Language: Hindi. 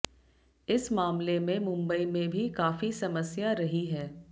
इस मामले में मुंबई में भी काफी समस्या रही है